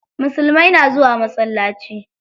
Musulmai na zuwa masallaci.